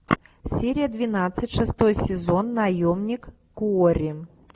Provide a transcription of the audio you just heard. серия двенадцать шестой сезон наемник куорри